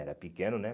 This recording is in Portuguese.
Era pequeno, né?